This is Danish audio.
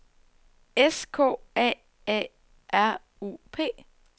S K A A R U P